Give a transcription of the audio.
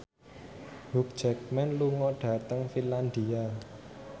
Hugh Jackman lunga dhateng Finlandia